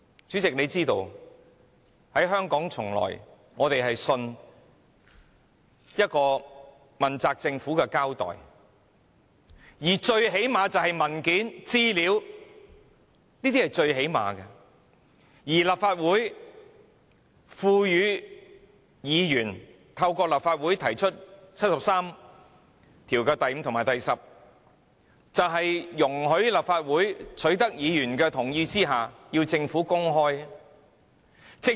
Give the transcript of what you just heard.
主席想必也知道，香港市民一直相信問責政府會交代，最低限度也會提供文件，這已是最低限度的要求，而議員透過《甚本法》第七十三條第五項及第七十三條十項動議議案，就是要容許立法會在取得議員的同意後，要求政府公開資料。